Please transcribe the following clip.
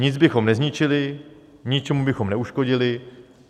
Nic bychom nezničili, ničemu bychom neuškodili.